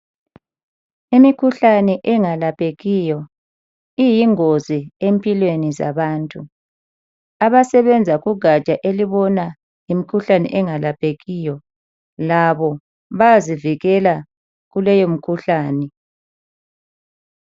Imikhuhlane engalaphekiyo iyingozi empilweni zabantu. Abasebenza kugatsha elibona ngemikhuhlane engalaphekiyo labo bayazivikela kuleyi mkhuhlane.